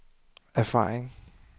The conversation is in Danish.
erfaring